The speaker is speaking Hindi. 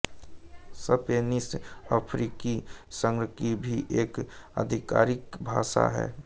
स्पेनिश अफ्रीकी संघ की भी एक आधिकारिक भाषा है